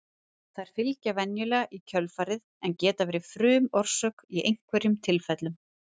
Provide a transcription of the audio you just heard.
Þær fylgja venjulega í kjölfarið en geta verið frumorsök í einhverjum tilfellum.